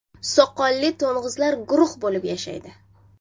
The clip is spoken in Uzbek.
Soqolli to‘ng‘izlar guruh bo‘lib yashaydi.